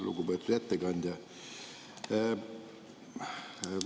Lugupeetud ettekandja!